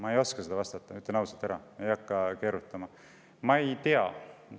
Ütlen ausalt ja ei hakka keerutama, et ma ei oska sellele vastata, ma ei tea seda.